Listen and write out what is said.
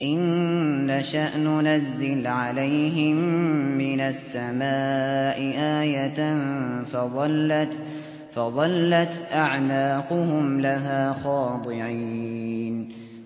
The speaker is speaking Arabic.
إِن نَّشَأْ نُنَزِّلْ عَلَيْهِم مِّنَ السَّمَاءِ آيَةً فَظَلَّتْ أَعْنَاقُهُمْ لَهَا خَاضِعِينَ